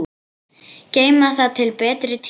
Geyma það til betri tíma.